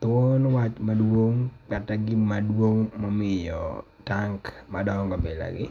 Thuon wach madung' kata gima duong' ma omiyo tank madoongo bilagi